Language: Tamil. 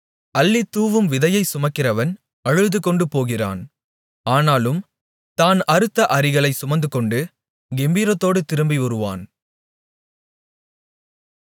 அள்ளித்தூவும் விதையைச் சுமக்கிறவன் அழுதுகொண்டு போகிறான் ஆனாலும் தான் அறுத்த அரிகளைச் சுமந்துகொண்டு கெம்பீரத்தோடு திரும்பிவருவான்